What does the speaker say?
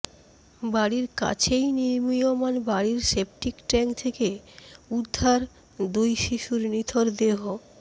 বাড়ির কাছেই নির্মীয়মাণ বাড়ির সেপটিক ট্যাঙ্ক থেকে উদ্ধার দুই শিশুর নিথর দেহ